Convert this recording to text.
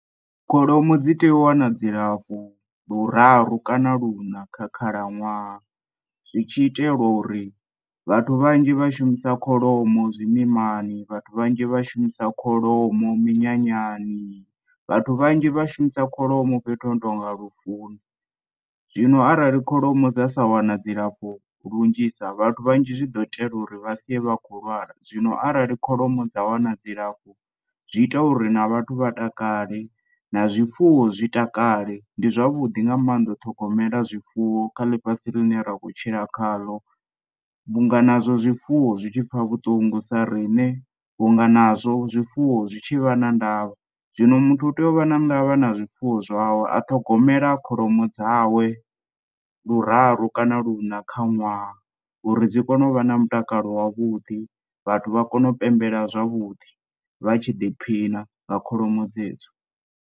Kholomo dzi tea u wana dzilafho luraru kana luṋa kha khalaṅwaha zwi tshi itela uri vhathu vhanzhi vhashumisa kholomo zwimimani, vhathu vhanzhi vhashumisa kholomo minyanyani, vhathu vhanzhi vhashumisa kholomo fhethu hono tonga lufuni. Zwino arali kholomo dza sa wana dzilafho lunzhisa vhathu vhanzhi zwiḓo tea uri vha sie vha khou lwala zwino arali kholomo dza wana dzilafho zwi ita uri na vhathu vha takale na zwifuwo zwi takale ndi zwavhuḓi nga mannḓa. U ṱhogomela zwifuwo kha ḽifhasi ḽine ra khou tshila khaḽo vhunga nazwo zwifuwo zwi tshipfa vhuṱungu sa riṋe vhunga nazwo zwifuwo zwitshi vha na ndavha zwino, muthu u tea u vha na ndavha na zwifuwo zwawe a ṱhogomela kholomo dzawe luraru kana luṋa kha ṅwaha uri dzi kona u vha na mutakalo wa vhuḓi vhathu vha kone u pembela zwavhuḓi vha tshi ḓiphina nga kholomo dzedzo.